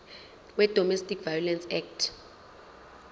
wedomestic violence act